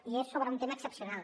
i és sobre un tema excepcional